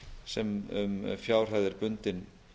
sem um fjárhæð er bundin